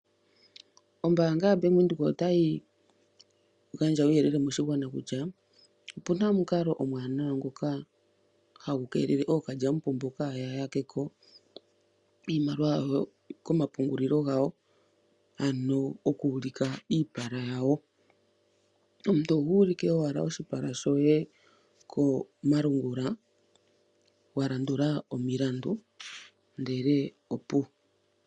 Ombaanga yaBank Windhoek otayi gandja uuyelele moshigwana kutya opuna omukalo omwaanawa nhoka hagu keelele okalyampombo kaaya yake ko iimaliwa yawo komapungulilo gawo ano goku ulika iipala yawo. Omuntu ohuulike owala oshipala she komalungula walandula omilandu ndele opuwo.